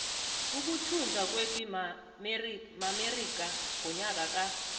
ukuthunjwa kwepi maamerika ngonyaka ka